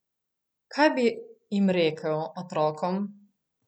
Kaj bi jim rekel, otrokom?